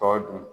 Tɔ dun